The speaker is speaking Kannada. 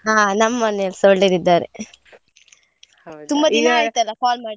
ಹಾ ನಮ್ ಮನೇಲಿಸ ಒಳ್ಳೆದಿದ್ದಾರೆ. ಆಯ್ತ್ ಅಲ್ಲ call ಮಾಡಿ.